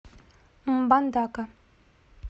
мбандака